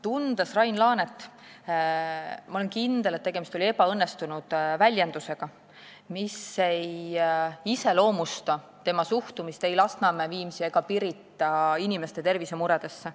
" Tundes Rain Laanet, olen kindel, et tegemist oli ebaõnnestunud väljendusega, mis ei iseloomusta tema suhtumist ei Lasnamäe, Viimsi ega Pirita inimeste tervisemuredesse.